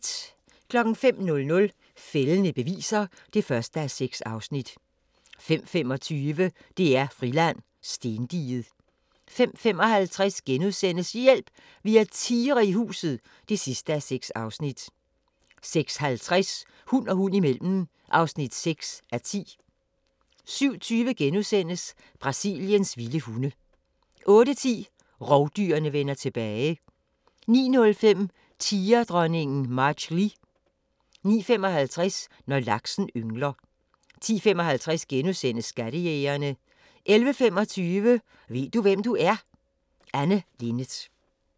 05:00: Fældende beviser (1:6) 05:25: DR-Friland: Stendiget 05:55: Hjælp! Vi har tigre i huset (6:6)* 06:50: Hund og hund imellem (6:10) 07:20: Brasiliens vilde hunde * 08:10: Rovdyrene vender tilbage 09:05: Tigerdronningen Machli 09:55: Når laksen yngler 10:55: Skattejægerne * 11:25: Ved du hvem du er? – Anne Linnet